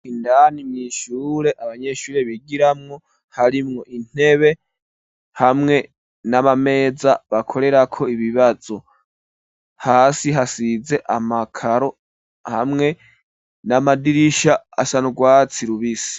Indani mw'ishure abanyeshuri bigiramwo harimwo intebe hamwe n'amameza bakorerako ibibazo hasi hasize amakaro hamwe n'amadirisha asa n'urwatsi rubisi.